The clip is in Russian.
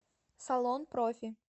салон профи